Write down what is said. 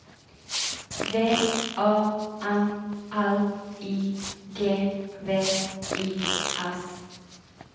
V A N L I G V I S